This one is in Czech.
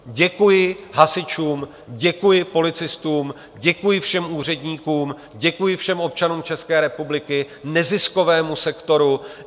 Děkuji hasičům, děkuji policistům, děkuji všem úředníkům, děkuji všem občanům České republiky, neziskovému sektoru.